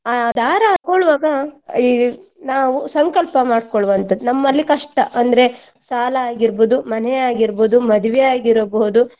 ಆ ದಾರ ಹಾಕೊಳ್ಳುವಾಗ ಈ ನಾವು ಸಂಕಲ್ಪ ಮಾಡ್ಕೊಳ್ಳುವಂತದ್ದು ನಮ್ಮಲ್ಲಿ ಕಷ್ಟ ಅಂದ್ರೆ ಸಾಲ ಆಗಿರ್ಬೋದು, ಮನೆ ಆಗಿರ್ಬೋದು, ಮದ್ವೆ ಆಗಿರಬಹುದು.